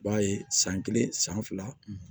I b'a ye san kelen san fila